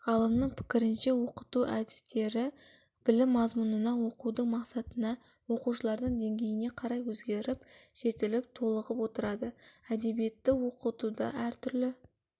ғалымның пікірінше оқыту әдістері білім мазмұнына оқудың мақсатына оқушылардың деңгейіне қарай өзгеріп жетіліп толығып отырады әдебиетті оқытуда әртүрлі